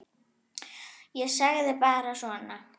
Ég sagði bara svona.